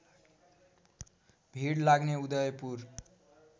भिड लाग्ने उदयपुर